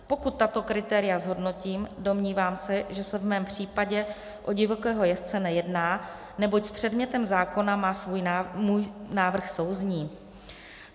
Pokud tato kritéria zhodnotím, domnívám se, že se v mém případě o divokého jezdce nejedná, neboť s předmětem zákona má můj návrh souznít.